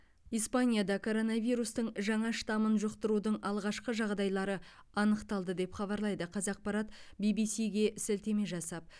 испанияда коронавирустың жаңа штаммын жұқтырудың алғашқы жағдайлары анықталды деп хабарлайды қазақпарат бибисиге сілтеме жасап